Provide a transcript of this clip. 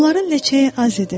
Onların ləçəyi az idi.